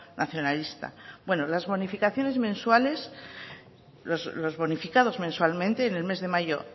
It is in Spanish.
nacionalista bueno las bonificaciones mensuales los bonificados mensualmente en el mes de mayo